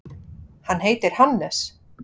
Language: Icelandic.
Hann heitir Hannes.